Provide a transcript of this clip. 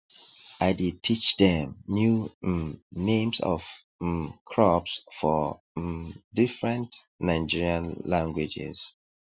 i dey teach dem new um names of um crops for um different nigerian languages